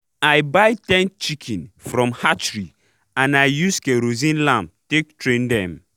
i buy ten chiken from hatchery and i use kerosene lamp take train dem